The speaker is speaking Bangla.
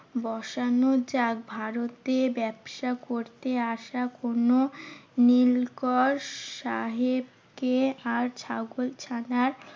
বসানো ভারতে ব্যবসা করতে আসা কোনো নীলকর সাহেবকে আর ছাগল ছানার